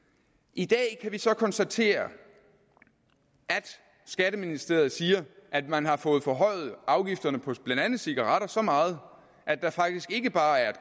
i dag kan vi så konstatere at skatteministeriet siger at man har fået forhøjet afgifterne på blandt andet cigaretter så meget at der faktisk ikke bare er